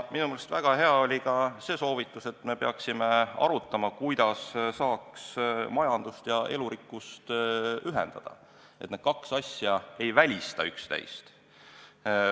Minu meelest väga hea oli ka see soovitus, et me peaksime arutama, kuidas saaks majanduse ja elurikkuse huve ühendada, et need kaks asja ei välistaks üksteist.